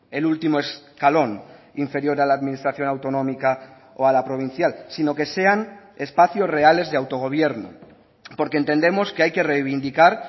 el último escalón inferior a la administración autonómica o a la provincial sino que sean espacios reales de autogobierno porque entendemos que hay que reivindicar